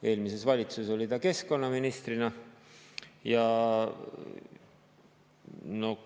Eelmises valitsuses oli ta keskkonnaministrina.